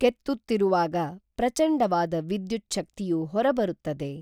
ಕೆತ್ತುತ್ತಿರುವಾಗ ಪ್ರಚಂಡವಾದ ವಿದ್ಯುಚ್ಛಕ್ತಿಯು ಹೊರಬರುತ್ತದೆ